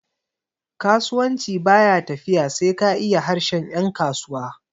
kasuwanci ba ya tafiya sai ka iya harshen yankasuwa